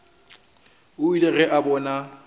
o ile ge a bona